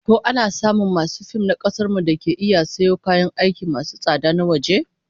Ko ana samun masu fim na kasar mu dake iya sayo kayan aiki masu tsada na waje?